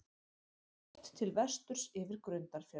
Horft til vesturs yfir Grundarfjörð.